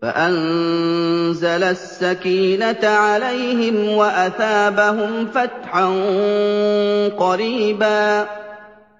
فَأَنزَلَ السَّكِينَةَ عَلَيْهِمْ وَأَثَابَهُمْ فَتْحًا قَرِيبًا